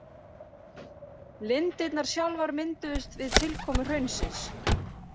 Lindirnar sjálfar mynduðust við tilkomu hraunsins.